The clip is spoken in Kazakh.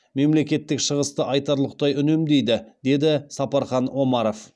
мемлекеттік шығысты айтарлықтай үнемдейді деді сапархан омаров